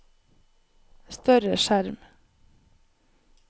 større skjerm